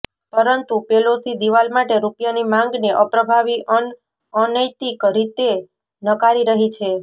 પરંતુ પેલોસી દિવાલ માટે રૂપિયાની માંગને અપ્રભાવી અન અનૈતિક રીતે નકારી રહી છે